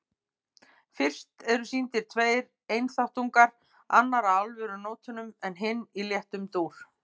Fyrst eru sýndir tveir einþáttungar, annar á alvarlegu nótunum en hinn í léttum dúr.